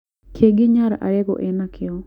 Kĩngĩ Nyar Alego enakĩo.